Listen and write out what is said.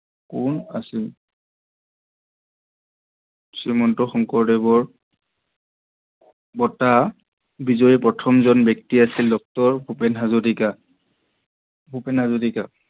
কোন আছিল? শ্ৰীমন্ত শংকৰদেৱৰ বটা বিজয়ী প্ৰথমজন ব্যক্তিজন ড° ভূপেন হাজৰিকা। ভূপেন হাজৰিকা।